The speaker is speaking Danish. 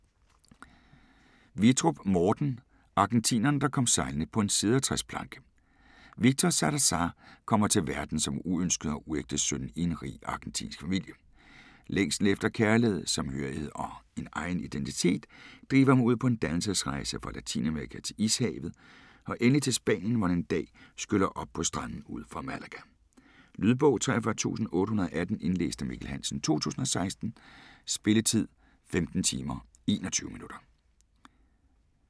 Vittrup, Morten: Argentineren der kom sejlende på en cedertræsplanke Victor Zalazar kommer til verden som uønsket og uægte søn i en rig argentinsk familie. Længslen efter kærlighed, sammenhørighed og en egen identitet driver ham ud på en dannelsesrejse fra Latinamerika til Ishavet og endelig til Spanien, hvor han en dag skyller op på stranden ud for Malaga. Lydbog 43818 Indlæst af Mikkel Hansen, 2016. Spilletid: 15 timer, 21 minutter.